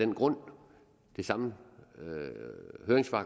grund det samme